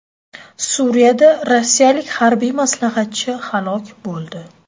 Suriyada rossiyalik harbiy maslahatchi halok bo‘ldi .